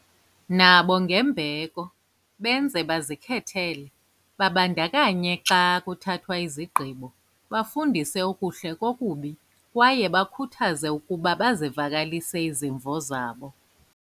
nabo ngembeko, benze bazikhethele, babandakanye xa kuthathwa izigqibo, bafundise okuhle kokubi, kwaye bakhuthaze ukuba bazivakalise izimvo zabo.